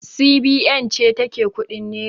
CBN ce ta ke kuɗin nera